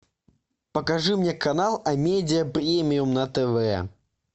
покажи мне канал амедиа премиум на тв